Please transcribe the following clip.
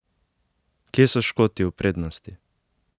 Kje so Škoti v prednosti?